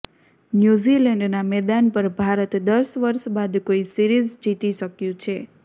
new ઝિલૅન્ડના મેદાન પર ભારત દસ વર્ષ બાદ કોઈ સિરીઝ જીતી શક્યું છે